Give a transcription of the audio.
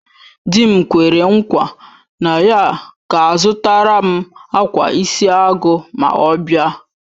Di m kwere nkwa na ya ga-azutaram akwa isi agu ma ọ bia